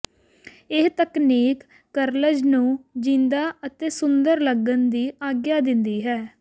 ਇਹ ਤਕਨੀਕ ਕਰਲਜ਼ ਨੂੰ ਜਿੰਦਾ ਅਤੇ ਸੁੰਦਰ ਲੱਗਣ ਦੀ ਆਗਿਆ ਦਿੰਦੀ ਹੈ